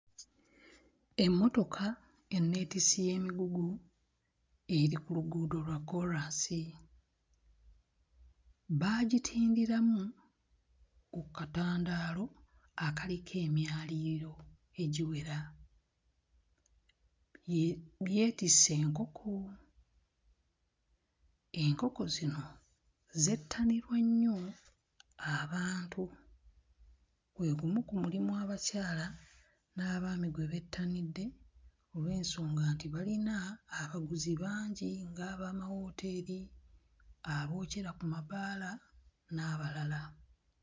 Emmotoka enneetissi y'emigugu eri ku luguudo lwa kkoolaasi, baagitindiramu ku katandaalo akaliko emyaliriro egiwera bye byetisse enkoko, enkoko zino zettanirwa nnyo abantu gwe gumu ku mulimu abakyala n'abaami gwe bettanidde olw'ensonga nti balina abaguzi bangi ng'abamawooteeri, abookyera ku mabaala n'abalala.